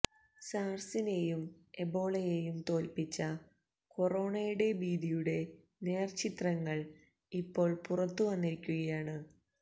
സാർസിനേയും എബോളയേയും തോൽപ്പിച്ച കൊറോണയുടെ ഭീതിയുടെ നേർചിത്രങ്ങൾ ഇപ്പോൾ പുറത്ത് വന്നിരിക്കുകയാണ്